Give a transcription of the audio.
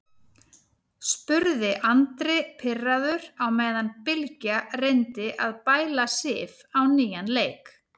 spurði Andri pirraður á meðan Bylgja reyndi að bæla Sif á nýjan leik.